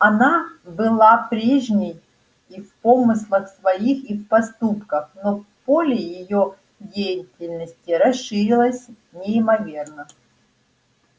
она была прежней и в помыслах своих и в поступках но поле её деятельности расширилось неимоверно